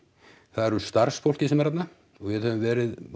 það er starfsfólkið sem er þarna og við höfum verið